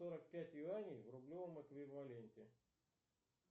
сорок пять юаней в рублевом эквиваленте